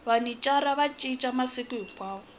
vhanicara yi cinca masiku hinkwawo